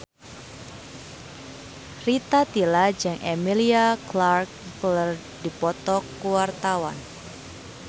Rita Tila jeung Emilia Clarke keur dipoto ku wartawan